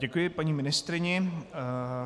Děkuji paní ministryni.